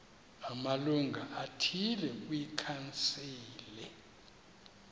amalungu athile kwikhansile